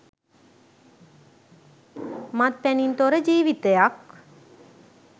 මත්පැනින් තොර ජීවිතයක්